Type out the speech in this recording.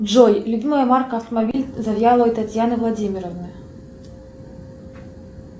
джой любимая марка автомобиля завьяловой татьяны владимировны